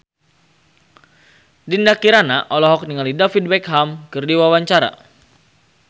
Dinda Kirana olohok ningali David Beckham keur diwawancara